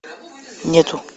нету